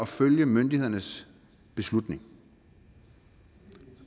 følge myndighedernes beslutning